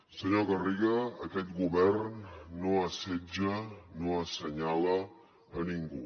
senyor garriga aquest govern no assetja no assenyala ningú